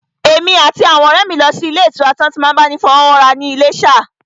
Èmi àti àwọn ọ̀rẹ́ mi lọ sí ilé ìtura tí wọ́n ti n máa bá ni fọwọ́wọ́ra ní Iléṣà